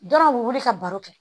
Dɔrɔn u bɛ wuli ka baro kɛ